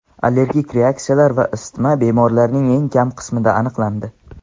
Allergik reaksiyalar va isitma bemorlarning eng kam qismida aniqlandi.